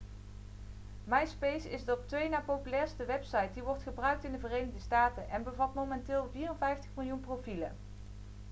myspace is de op twee na populairste website die wordt gebruikt in de verenigde staten en bevat momenteel 54 miljoen profielen